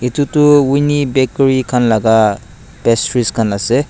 ititi winni bakery khan laga pastries khan ase.